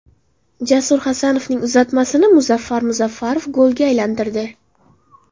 Jasur Hasanovning uzatmasini Muzaffar Muzaffarov golga aylantirdi.